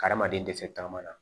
Adamaden dɛsɛ taama na